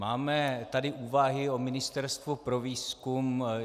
Máme tady úvahy o ministerstvu pro výzkum.